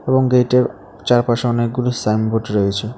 এবং গেইটের চারপাশে অনেকগুলি সাইনবোর্ড রয়েছে।